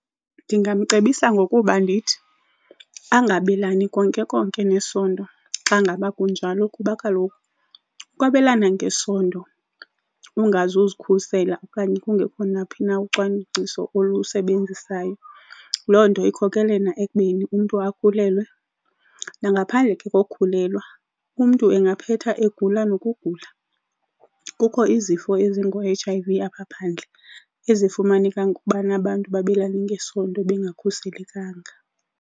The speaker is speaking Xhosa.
Ngingamcebisa ngokuba ndithi angabelani konke konke ngesondo xa ngaba kunjalo kuba kaloku ukwabelana ngesondo ungazuzikhusela okanye kungekho naphi na ucwangciso olusebenzisayo, loo nto ikhokelela ekubeni umntu akhulelwe. Nangaphandle ke kokhulelwa umntu angaphetha egula nokugula, kukho izifo ezingoo-H_I_V apha phandle ezifumaneka ngokubana abantu babelane ngesondo bengakhuselekanga.